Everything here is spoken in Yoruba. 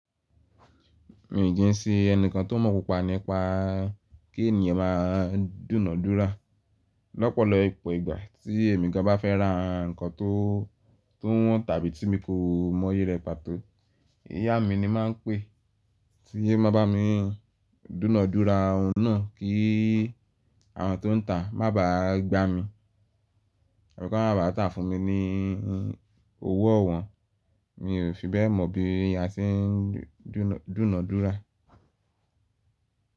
Mi ò kí ń sí ẹnìkan tó mọ̀ púpọ̀ nípa kí ènìyàn má a dúnàdúrà. Lọ́pọ̀lọpọ̀ ìgbà tí èmi gan ba fẹ́ ra nǹkan tó túnwọ̀n tàbí tí mo kò mọ iye rẹ̀ pàtó, ìyá mi ni máa ń pè é tí ẹ má ba mi dúnàdúrà ọ̀nà kí àwọn tó ń tà má ba à gba mi. Ọ̀rọ̀ kan máa bàa tà fún mi ni owó ọ̀wọ́n, mi ò fi bẹ́ẹ̀ mọ̀ bí ìyá ti ń dúnàdúrà.